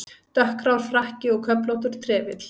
Dökkgrár frakki og köflóttur trefill.